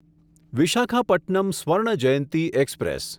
Visakhapatnam Swarna Jayanti express